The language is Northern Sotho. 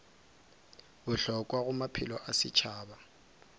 bohlokwa go maphelo a setšhaba